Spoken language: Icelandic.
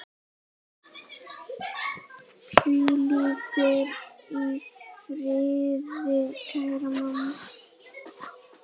Hvíldu í friði, kæra amma.